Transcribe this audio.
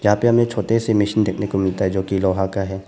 यहां पे हमें छोटे से मशीन देखने को मिलता है जो की लोहा का है।